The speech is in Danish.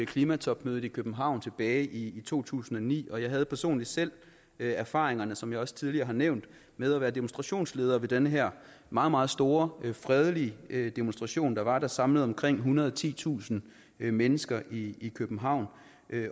klimatopmødet i københavn tilbage i to tusind og ni og jeg havde personligt selv erfaringerne som jeg også tidligere har nævnt med at være demonstrationsleder ved den her meget meget store fredelige demonstration der var samlet omkring ethundrede og titusind mennesker i i københavn